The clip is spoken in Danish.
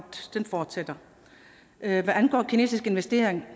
den fortsætter hvad angår en kinesisk investering